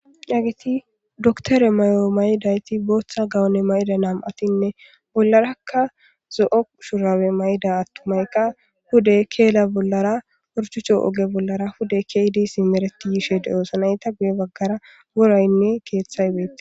Haggeti dokkitere maayo mayidayti booththa gawonne mayida nam'uatine bollaraka zo'o shurabbe mayida atumayka pude kella bollara horchchoche ogge bollara pude kezidi simmereti yishshe deo'ossona eeta guye baggara worayne keththay bettes.